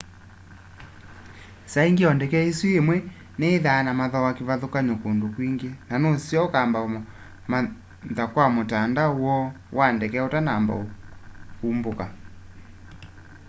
saa ingi o ndeke isu imwe niyithwaa na mathooa kivathukany'o kundu kwingi na nuseo ukamba umantha kwa mutandao woo wa ndeke utanamba umbuku